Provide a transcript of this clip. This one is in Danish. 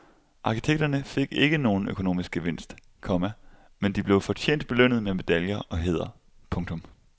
Arkitekterne fik ikke nogen økonomisk gevinst, komma men de blev fortjent belønnet med medaljer og hæder. punktum